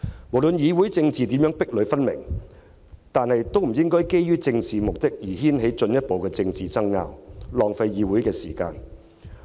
不論議會政治如何壁壘分明，我們身為議員也不應該基於政治目的而掀起進一步的政治爭拗，浪費議會時間。